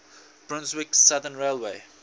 brunswick southern railway